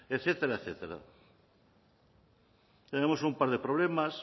etcétera etcétera tenemos un par de problemas